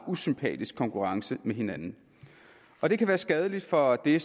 usympatisk konkurrence med hinanden og det kan være skadeligt for det